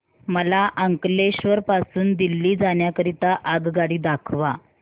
मला अंकलेश्वर पासून दिल्ली जाण्या करीता आगगाडी दाखवा